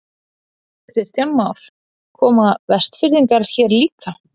Kristján Már: Koma Vestfirðingar hér líka?